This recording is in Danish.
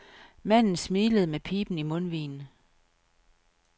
Manden smilede med piben i mundvigen.